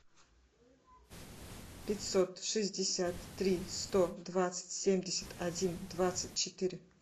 пятьсот шестьдесят три сто двадцать семьдесят один двадцать четыре